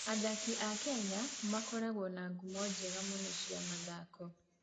Athaki a Kenya makoretwo na ngumo njega mũno cia mathako.